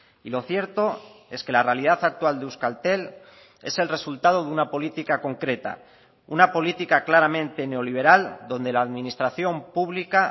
y lo cierto es que la realidad actual de euskaltel es el resultado de una política concreta una política claramente neoliberal donde la administración pública